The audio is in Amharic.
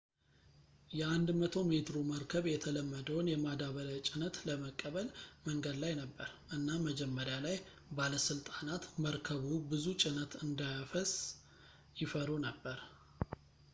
የ 100-ሜትሩ መርከብ የተለመደውን የማዳበሪያ ጭነት ለመቀበል መንገድ ላይ ነበር እና መጀመሪያ ላይ ባለስልጣናት መርከቡ ብዙ ጭነት እንዳያፈስ ይፈሩ ነበር